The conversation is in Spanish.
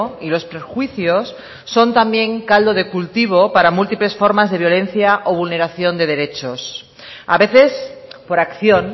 y los prejuicios son también caldo de cultivo para múltiples formas de violencia o vulneración de derechos a veces por acción